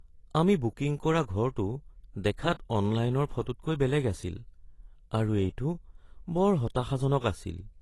আমি বুকিং কৰা ঘৰটো দেখাত অনলাইনৰ ফটোতকৈ বেলেগ আছিল আৰু এইটো বৰ হতাশাজনক আছিল।